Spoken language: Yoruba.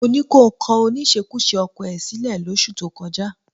Mo ní kí o kọ oníṣekúṣe ọkọ ẹ sílẹ̀ lóṣù tó kọjá